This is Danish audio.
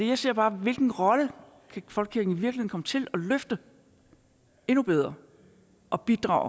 jeg ser bare på hvilken rolle folkekirken kan komme til at løfte endnu bedre og bidrage